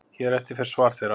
Hér á eftir fer svar þeirra.